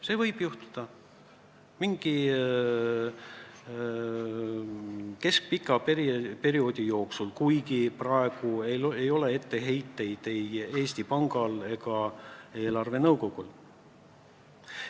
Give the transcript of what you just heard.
See võib juhtuda mingi keskpika perioodi jooksul, kuigi praegu ei ole etteheiteid ei Eesti Pangal ega eelarvenõukogul.